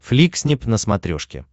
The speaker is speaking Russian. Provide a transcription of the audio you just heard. фликснип на смотрешке